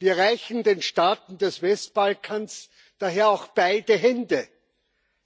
Wir reichen den Staaten des Westbalkans daher auch beide Hände,